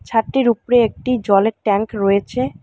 ছাদটির উপরে একটি জলের ট্যাঙ্ক রয়েছে।